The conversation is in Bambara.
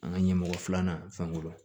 An ka ɲɛmɔgɔ filanan fɛn kɔrɔ